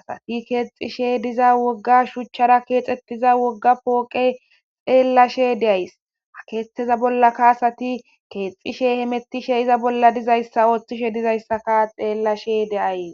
asati keexishe diza wogga shuchchara keexxettiza wogga pooqe xeellashe deays akeetteza bollaka asati keexxishe hemettishe iza bolla dizayssa oothtishe dizayssaka xeellashe deaye.